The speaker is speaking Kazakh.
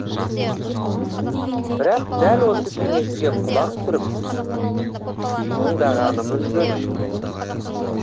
бірақ дәл осы кеңеске құлақ түріп тыңдағанымыз жөн